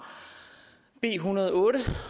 en en hundrede og otte